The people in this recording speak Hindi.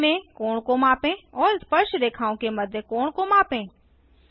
केंद्र में कोण को मापें और स्पर्शरेखाओं के मध्य कोण को मापें